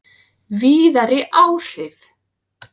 Víðari áhrif